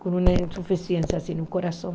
com uma insuficiência assim no coração.